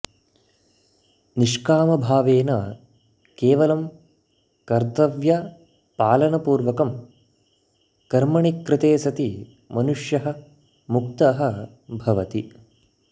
निष्कामभावेन केवलं कर्तव्यपालनपूर्वकं कर्मणि कृते सति मनुष्यः मुक्तः भवति